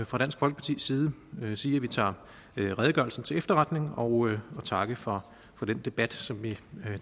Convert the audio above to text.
fra dansk folkepartis side sige at vi tager redegørelsen til efterretning og takke for den debat som vi